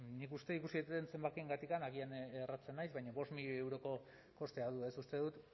nik uste ikusi ditudan zenbakiengatik agian erratzen naiz baina bost milioi euroko kostea du uste dut